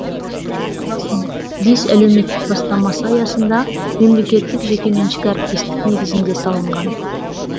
елбасының бес әлеуметтік бастамасы аясында мемлекеттік жекеменшік әріптестік негізінде салынған